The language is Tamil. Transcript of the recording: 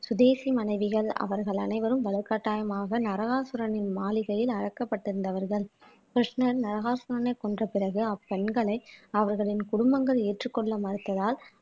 சுதேசி மனைவிகள் அவர்கள் அனைவரும் வலுக்கட்டாயமாக நரகாசுரனின் மாளிகையில் அடைக்கப்பட்டிருந்தவர்கள் கிருஷ்ணன் நரகாசுரனை கொன்ற பிறகு அப்பெண்களை அவர்களின் குடும்பங்கள் ஏற்றுக்கொள்ள மறுத்ததால்